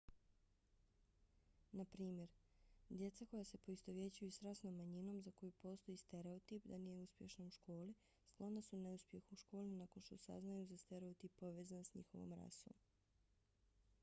na primjer djeca koja se poistovjećuju s rasnom manjinom za koju postoji stereotip da nije uspješna u školi sklona su neuspjehu u školi nakon što saznaju za stereotip povezan s njihovom rasom